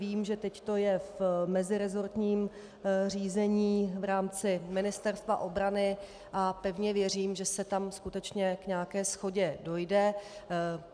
Vím, že teď to je v meziresortním řízení v rámci Ministerstva obrany, a pevně věřím, že se tam skutečně k nějaké shodě dojde.